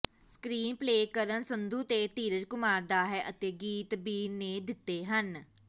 screen play Karan Sandhu ਤੇ ਧੀਰਜ ਕੁਮਾਰ ਦਾ ਹੈ ਅਤੇ ਗੀਤ ਬੀਰ ਨੇ ਦਿੱਤੇ ਹਨ